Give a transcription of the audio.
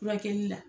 Furakɛli la